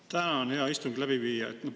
Tänan, hea istungi läbiviija!